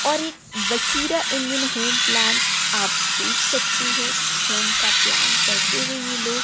और एक बसीरा इंडियन होम प्लान आप देख सकते है होम का प्लान करते हुए ये लो--